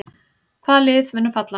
Hvaða lið munu falla?